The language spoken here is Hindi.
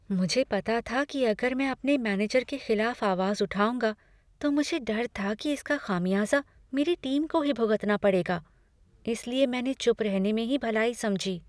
मुझे पता था कि अगर मैं अपने मैनेजर के खिलाफ आवाज़ उठाऊंगा, तो मुझे डर था कि इसका खामियाजा मेरी टीम को ही भुगतना पड़ेगा, इसलिए मैंने चुप रहने में ही भलाई समझी।